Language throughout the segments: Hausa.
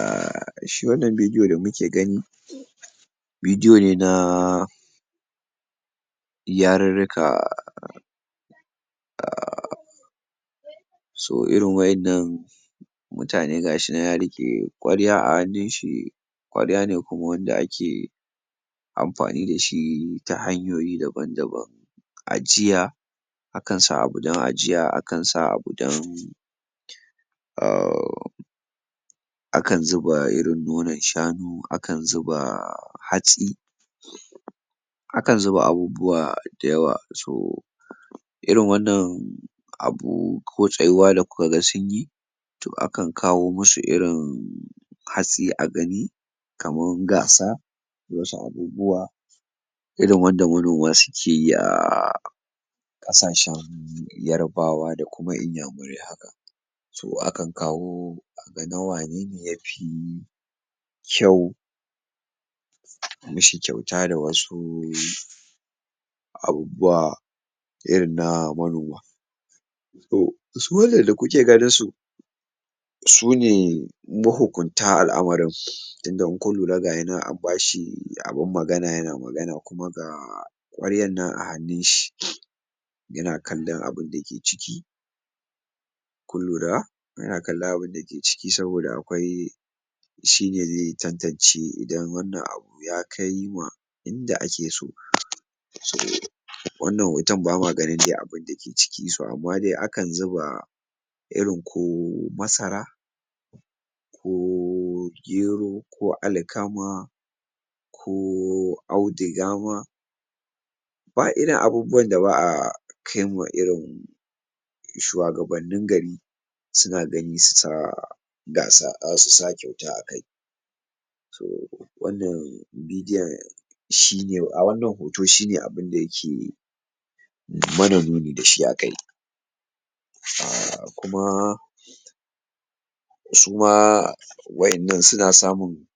um Shi wannan bidiyo da muke gani, bidiyo ne na yarurruka so irin waƴannan mutane gashinan ya riƙe ƙwarya a hannun shi, ƙwarya ne kuma wanda ake amfani da shi ta hanyoyi daban daban ajiya, akan sa abu dan ajiya akan sa abu dan akan zuba irin nonan shanu akan zuba hatsi, akan zuba abubuwa dayawa so irin wannan abu ko tsayuwa da kuka ga sunyi to akan kawo musu irin hatsi a gani kaman gasa, ko wasu abubuwa irin wanda manoma suke yi a ƙasashen yarabawa da kuma inyamurai haka so akan kawo a ga na wanene ya fi kyau a mishi kyauta da wasu abubuwa irin na manoma. To su wannan da kuke ganin su, su ne mahukunta al'amarin tunda in kun lura gayinan an bashi abun magana yana magana kuma ga ƙwaryan nan a hannun shi yana kallon abunda ke ciki kun lura yana kallon abunda ke ciki saboda akwai, shine ze tantance idan wannan abu ya kai ma inda ake so wannan hoton ba ma ganin dai abunda ke ciki so amma dai akan zuba irin ko masara ko gero, ko alkama, ko auduga ma ba irin abubuwan da ba a kai ma irin shuwagabannin gari suna gani su sa gasa um su sa kayuta a kai so wannan bidiyon shine um wannan hoto shine abunda yake mana nuni da shi a kai kuma su ma waƴannan suna samun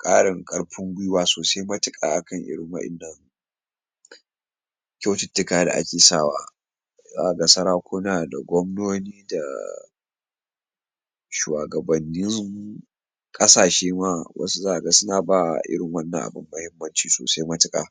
ƙarin ƙarfin gwiwa sosai matuƙa a kan irin wa'innan kyaututtuka da ake sawa, zaka ga sarakuna da gwamnoni da shuwagabanni ƙasashe ma wasu zaka ga suna ba irin wannan abun mahimmanci sosai matuƙa.